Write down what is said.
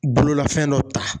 Bololafɛn dɔ ta.